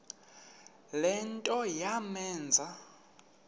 le nto yamenza